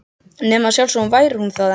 Nema að sjálfsögðu væri hún það ekki.